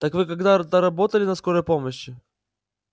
так вы когда-то работали на скорой помощи